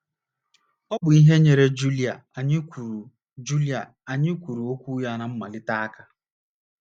Ọ bụ ihe nyeere Julia anyị kwuru Julia anyị kwuru okwu ya ná mmalite aka.